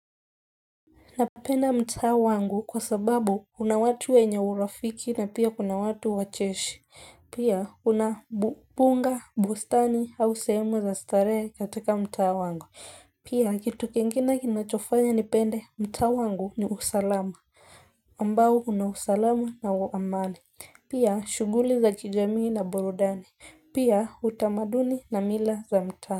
Napenda mtaa wangu kwa sababu una watu wenye urafiki na pia kuna watu wacheshi. Pia una mbuga, bustani au sehemu za starehe katika mtaa wangu. Pia kitu kingine kinachofanya nipende mtaa wangu ni usalama. Ambao una usalama na amani. Pia shughuli za kijamii na burudani. Pia utamaduni na mila za mta.